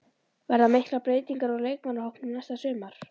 Verða miklar breytingar á leikmannahópnum næsta sumar?